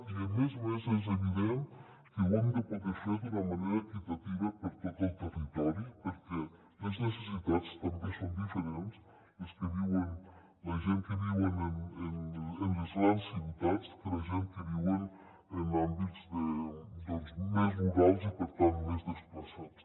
i a més a més és evident que ho hem de poder fer d’una manera equitativa per tot el territori perquè les necessitats també són diferents les de la gent que viuen en les grans ciutats de les de la gent que viuen en àmbits més rurals i per tant més desplaçats